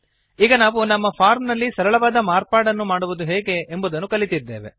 ಈಗ ನಾವು ನಮ್ಮ ಫಾರ್ಮ್ ನಲ್ಲಿ ಸರಳವಾದ ಮಾರ್ಪಾಡನ್ನು ಮಾಡುವುದು ಹೇಗೆ ಎಂಬುದನ್ನು ಕಲಿತಿದ್ದೇವೆ